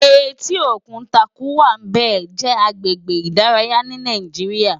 Éti ókún Tàkúwá Bé jè àgbégbé idàráyá ni Nàijiriá